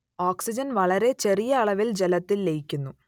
oxygen വളരെ ചെറിയ അളവിൽ ജലത്തിൽ ലയിക്കുന്നു